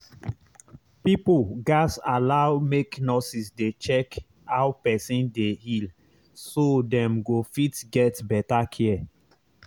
area pipo suppose allow make nurses dey check how person dey recover so dem fit get proper medical care